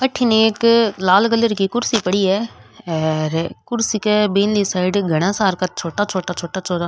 अठन एक लाल कलर की कुर्शी पड़ी है आर कुर्सी के बिन साइड ने घाना सारा छोटा छोटा छोटा छोटा --